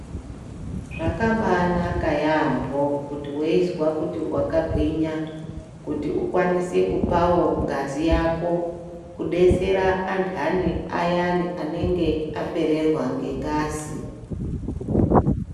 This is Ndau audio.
Zvakabanaka yaampho kuti weizwa kuti wakagwinya kuti ukwanise kupawo ngazi yako kudetsera anthani ayani anenge apererwa ngengazi.